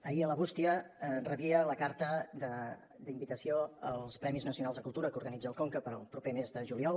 ahir a la bústia rebia la carta d’invitació als premis nacionals de cultura que organitza el conca per al proper mes de juliol